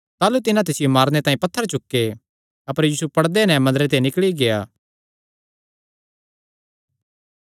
ताह़लू तिन्हां तिसियो मारने तांई पत्थर चुके अपर यीशु पड़दे नैं मंदरे ते निकल़ी गेआ